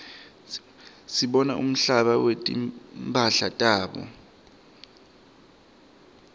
sibona umbala wetimphala tabo